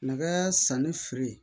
Nɛgɛ sanni feere